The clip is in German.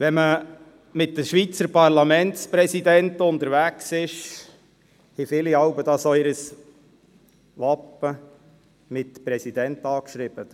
Wenn man mit den Schweizer Parlamentspräsidenten unterwegs ist, haben viele jeweils ihr Wappen, das mit «Präsident» angeschrieben ist.